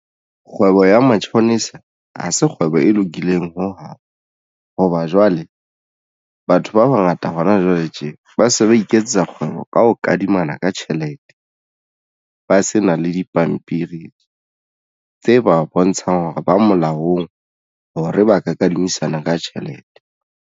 Kgwebo ya matjhonisa ha se kgwebo e lokileng ho hang hoba jwale batho ba bangata hona jwale tje ba se ba iketsetsa kgwebo ka ho kadimana ka tjhelete ba se na le dipampiri tse ba bontshang hore ba molaong hore ba ka kadimisana ka tjhelete.